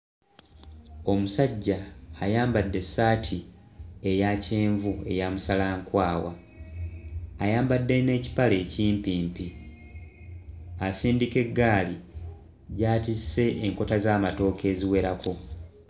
Omusajja ayambadde essaati eya kyenvu eya musalankwawa ayambadde n'ekipale ekimpimpi asindika eggaali gy'atisse enkota z'amatooke eziwerako.